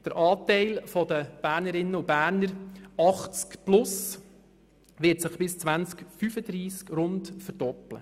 Der Anteil der Bernerinnen und Berner mit Alter von 80 plus wird sich bis 2035 ungefähr verdoppeln.